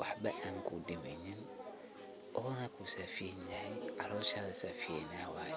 waxbo kudimeynin, ona kusafiyeynay calosha safiyeyna waye.